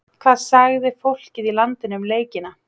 Hvað sagði fólkið í landinu um leikina?